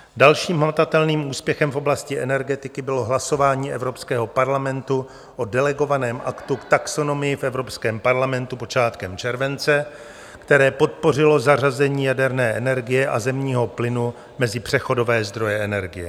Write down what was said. Dalším hmatatelným úspěchem v oblasti energetiky bylo hlasování Evropského parlamentu o delegovaném aktu v taxonomii v Evropském parlamentu počátkem července, které podpořilo zařazení jaderné energie a zemního plynu mezi přechodové zdroje energie.